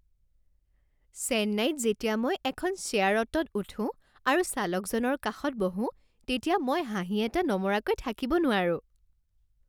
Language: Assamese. চেন্নাইত যেতিয়া মই এখন শ্বেয়াৰ অ'টোত উঠো আৰু চালকজনৰ কাষত বহো তেতিয়া মই হাঁহি এটা নমৰাকৈ থাকিব নোৱাৰো।